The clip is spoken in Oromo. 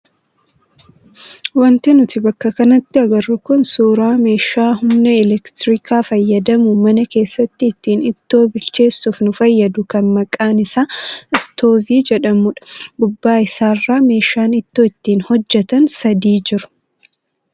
Wanti nuti bakka kanatti agarru kun suuraa meeshaa humna elektiriikaa fayyadamuun mana keessatti ittiin ittoo bilcheessuuf nu fayyadu kan maqaan isaa istoovii jedhamudha. Gubbaa isaarra meeshaan ittoo itti hojjatan sadiitu jiru.